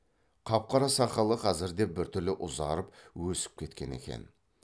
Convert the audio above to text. қап қара сақалы қазірде біртүрлі ұзарып өсіп кеткен екен